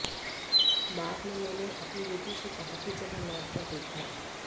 बाद में मैंने अपनी बेटी से कहा कि जरा नेट पर देखना